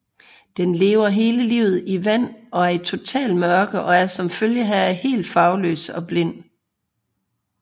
Den lever hele livet i vand og i totalt mørke og er som følge heraf helt farveløs og blind